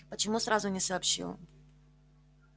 почему сразу не сообщил